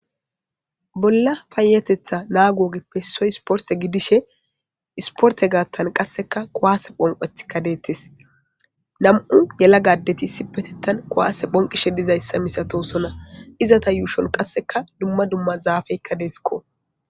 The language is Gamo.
bolla payetetha naagoogeppe soy sporte gidishe isporte gaattan qasseka kowaase phonqetika deettes nam7u yela gadeti issi petettan kuwaase phonqishe dizayssa misato sona izata yuushon qasseka dumma dumma zaafeykka deesikko